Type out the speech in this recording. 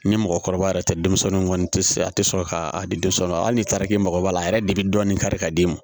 Ni mɔgɔkɔrɔba yɛrɛ tɛ denmisɛnninw kɔni tɛ a tɛ sɔn ka a di denmisɛnw ma hali ni tariki mago b'a la a yɛrɛ de bi dɔɔnin kari ka d'i ma